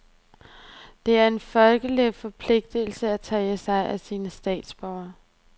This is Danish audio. Det er en folkeretslig forpligtelse at tage sig af sine egne statsborgere.